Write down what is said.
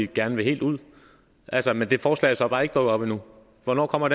gerne vil helt ud altså men det forslag er så bare ikke dukket op endnu hvornår kommer